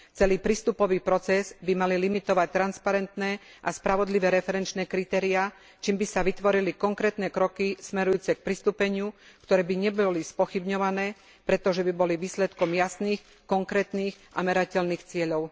Celý prístupový proces by mali limitovať transparentné a spravodlivé referenčné kritériá, čím by sa vytvorili konkrétne kroky smerujúce k pristúpeniu, ktoré by neboli spochybňované, pretože by boli výsledkom jasných, konkrétnych a merateľných cieľov.